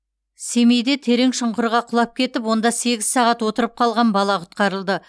семейде терең шұңқырға құлап кетіп онда сегіз сағат отырып қалған бала құтқарылды